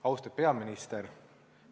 Austet peaminister!